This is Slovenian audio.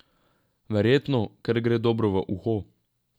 Verjetno, ker gre dobro v uho.